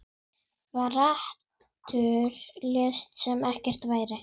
Brandur lét sem ekkert væri.